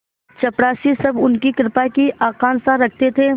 चपरासीसब उनकी कृपा की आकांक्षा रखते थे